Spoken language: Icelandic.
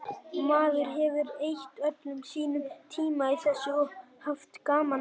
Maður hefur eytt öllum sínum tíma í þessu og haft gaman að.